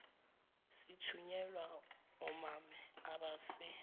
sithunyelwa omame abase